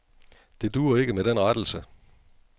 Det duer ikke med den rettelse.